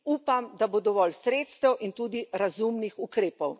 Upam, da bo dovolj sredstev in tudi razumnih ukrepov.